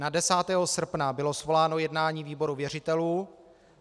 Na 10. srpna bylo svoláno jednání výboru věřitelů.